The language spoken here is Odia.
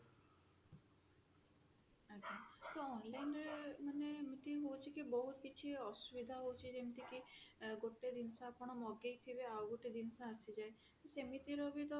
ଆଜ୍ଞା ତ online ରେ ମାନେ ଏମତି ହଉଛି କି ବହୁତ କିଛି ଅସୁବିଧା ହଉଛି ଯେମତି କି ଗୋଟେ ଜିନିଷ ଆପଣ ମଗେଇଥିବେ ଆଉ ଗୋଟେ ଜିନିଷ ଆସିଯାଏ ସେମିତିରେ ବି ତ